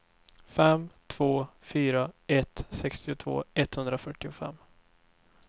fem två fyra ett sextiotvå etthundrafyrtiofem